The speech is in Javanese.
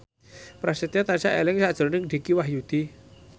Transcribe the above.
Prasetyo tansah eling sakjroning Dicky Wahyudi